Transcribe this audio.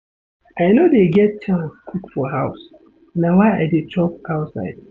I no dey get chance cook for house na why I dey chop outside.